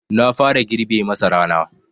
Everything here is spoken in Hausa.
Na fara girbe masarana.